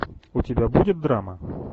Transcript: у тебя будет драма